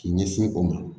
K'i ɲɛsin o ma